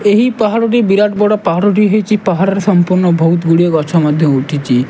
ଏହି ପାହାଡ଼ ଟି ବିରାଟ ବଡ ପାହାଡ଼ ଟି ହେଇଚି ପାହାର ର ସଂପୂର୍ଣ୍ଣ ବହୁତ୍ ଗୁଡିଏ ଗଛ ମଧ୍ୟ ଉଠିଚି।